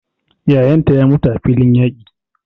Yayan ta ya mutu a filin yaƙi.